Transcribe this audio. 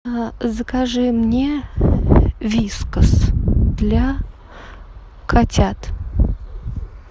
закажи мне вискас для котят